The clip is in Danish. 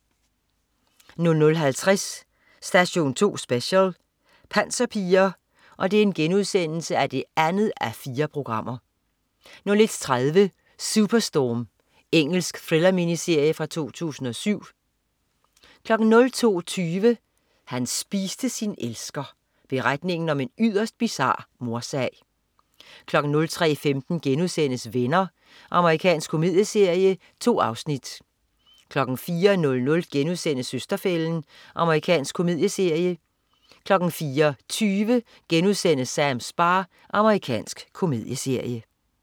00.50 Station 2 Special: Panserpiger 2:4* 01.30 Superstorm. Engelsk thriller-miniserie fra 2007 02.20 Han spiste sin elsker. Beretningen om en yderst bizar mordsag 03.15 Venner.* Amerikansk komedieserie. 2 afsnit 04.00 Søster-fælden* Amerikansk komedieserie 04.20 Sams bar* Amerikansk komedieserie